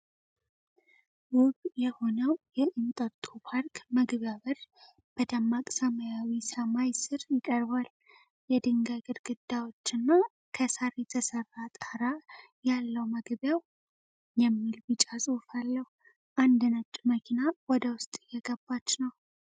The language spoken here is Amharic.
ውብ የሆነው የኤንቶቶ ፓርክ መግቢያ በር በደማቅ ሰማያዊ ሰማይ ስር ይቀርባል። የድንጋይ ግድግዳዎችና ከሳር የተሰራ ጣራ ያለው መግቢያው "ENTOTO PARK" የሚል ቢጫ ጽሑፍ አለው። አንድ ነጭ መኪና ወደ ውስጥ እየገባች ነው።